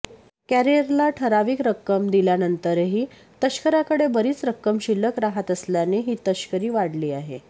कॅरियरला ठराविक रक्कम दिल्यानंतरही तस्कराकडे बरिच रक्कम शिल्लक राहत असल्याने ही तस्करी वाढली आहे